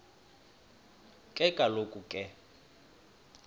ke kaloku ke